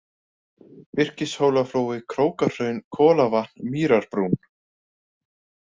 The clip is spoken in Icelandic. Virkishólaflói, Krókahraun, Kolavatn, Mýrarbrún